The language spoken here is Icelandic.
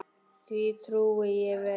Því trúi ég vel.